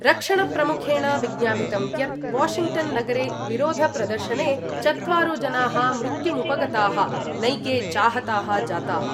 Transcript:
रक्षणप्रमुखेण विज्ञापितं यत् वाशिङ्ग्टन्नगरे विरोधप्रदर्शने चत्वारो जनाः मृत्युमुपगताः नैके चाहताः जाताः।